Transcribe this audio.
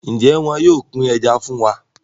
Njé wón yóò pin Ẹja fún wá?